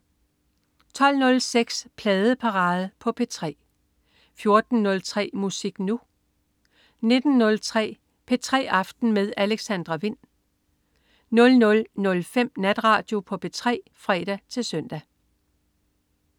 12.06 Pladeparade på P3 14.03 Musik Nu! 19.03 P3 aften med Alexandra Wind 00.05 Natradio på P3 (fre-søn)